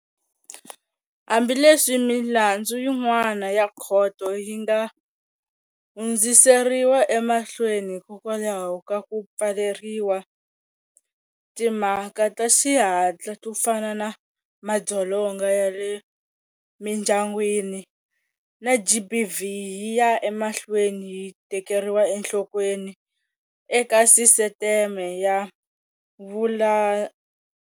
Hambileswi milandzu yin'wana ya khoto yi nga hundziseriwa emahlweni hikwalaho ka ku pfaleriwa, timhaka ta xihatla to fana na madzolonga ya le mindyangwini na GBV yi ya emahlweni yi tekeriwa enhlokweni eka sisiteme ya vula.